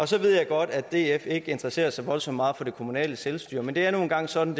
så ved jeg godt at df ikke interesserer sig voldsomt meget for det kommunale selvstyre men det er nu engang sådan